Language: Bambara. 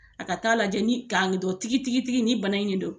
A ka taaa lajɛ ni kan dɔ tigi tigi nin bana in de do.